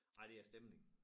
Nej det er æ stemning